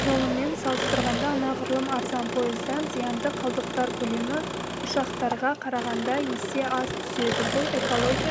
жолымен салыстырғанда анағұрлым арзан пойыздан зиянды қалдықтар көлемі ұшақтарға қарағанда есе аз түседі бұл экология